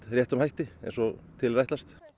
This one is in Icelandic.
réttum hætti eins og til er ætlast